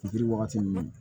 Fitiri wagati ninnu